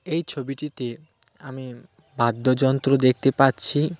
এই ছবিটিতে আমি বাদ্যযন্ত্র দেখতে পাচ্ছি .